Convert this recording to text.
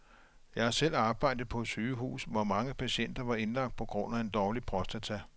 Jeg har selv arbejdet på et sygehus, hvor mange patienter var indlagt på grund af en dårlig prostata.